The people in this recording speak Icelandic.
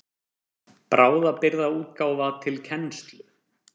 Bráðabirgðaútgáfa til kennslu.